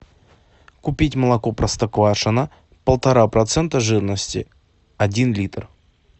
купить молоко простоквашино полтора процента жирности один литр